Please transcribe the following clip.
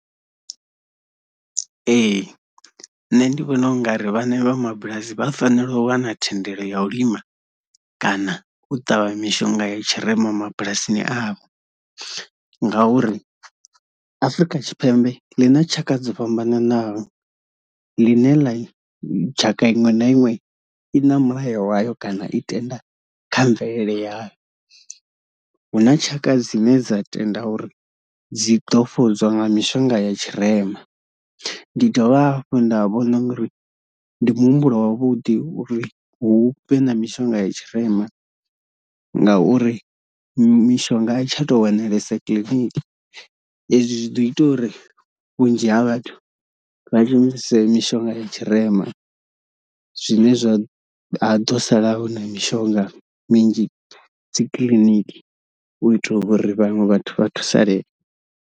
Ee nṋe ndi vhona u nga ri vhane vha mabulasi vha fanela u wana thendelo ya u lima kana u ṱavha mishonga ya tshirema mabulasini avho ngauri Afurika Tshipembe ḽi na tshaka dzo fhambananaho ḽine ḽa tshaka iṅwe na iṅwe i na mulayo wayo kana i tenda kha mvelele yaḽo, huna tshaka dzine dza tenda uri dzi ḓo fhodzwa nga mishonga ya tshirema. Ndi dovha hafhu nda vhona u ngari ndi muhumbulo wavhuḓi uri hu vhe na mishonga ya tshirema ngauri mishonga a tsha to wanalesa clinic, hezwi zwi ḓo ita uri vhunzhi ha vhathu vha shumise mishonga ya tshirema zwine zwa ha ḓo sala hu na mishonga minzhi dzi kiḽiniki u itela uri vhaṅwe vhathu vha thusalee.